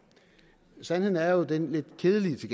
sandheden er jo den lidt kedelige